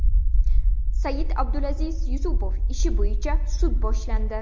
Said-Abdulaziz Yusupov ishi bo‘yicha sud boshlandi.